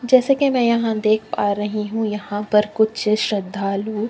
जैसे की मै यहाँ देख पा रही हूँ यहाँ पर कुछ श्रद्धालु।